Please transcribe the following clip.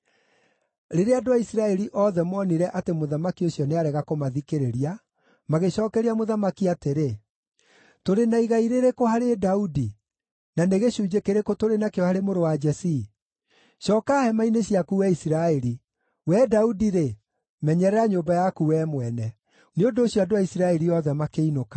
Rĩrĩa andũ a Isiraeli othe moonire atĩ mũthamaki ũcio nĩarega kũmathikĩrĩria, magĩcookeria mũthamaki atĩrĩ: “Tũrĩ na igai rĩrĩkũ harĩ Daudi, na nĩ gĩcunjĩ kĩrĩkũ tũrĩ nakĩo harĩ mũrũ wa Jesii? Cooka hema-inĩ ciaku, wee Isiraeli! Wee Daudi-rĩ, menyerera nyũmba yaku wee mwene!” Nĩ ũndũ ũcio andũ a Isiraeli othe makĩinũka.